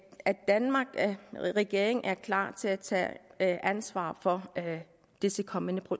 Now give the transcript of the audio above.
danmarks regering er klar til at tage ansvar for disse kommende